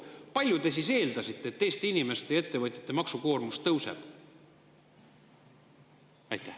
Mis oli teie eeldus, kui palju Eesti inimeste ja ettevõtjate maksukoormus tõuseb?